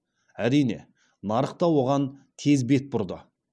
әрине нарық та оған тез бет бұрды